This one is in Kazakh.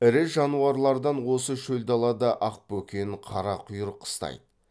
ірі жануарлардан осы шөл далада ақбөкен қарақұйрық қыстайды